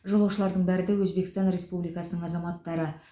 жолаушылардың бәрі де өзбекстан республикасының азаматтары